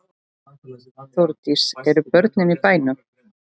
Þórdís: Eru börnin í bænum?